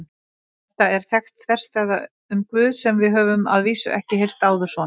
Þetta er þekkt þverstæða um Guð sem við höfum að vísu ekki heyrt áður svona.